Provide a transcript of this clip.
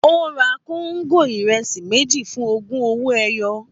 Ó ra kóńgò ìrẹsì méjì fún ogún owó ẹyọ